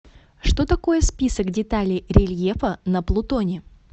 что такое список деталей рельефа на плутоне